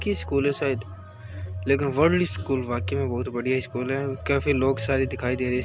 की स्कूल है शायद लेकिन वल्ड स्कूल वाकई में बोहोत बढ़िया स्कूल है काफी लोग सारे दिखाई दे रहे इसके --